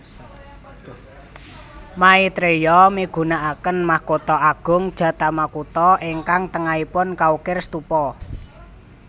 Maitreya migunakaken mahkota agung jatamakuta ingkang tengaipun kaukir stupa